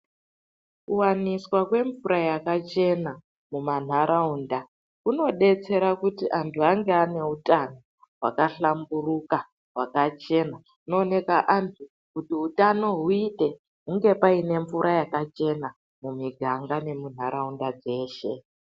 Kuvaniswa kwemvura yakachena mumantaraunda kunobetsera kuti antu ange ane utano hwakahlamburuka hwakachena. Unoneka antu kuti hutano huite hunge paine mvura yakachena mumiganga nemuntaraunda dzedu dzeshe.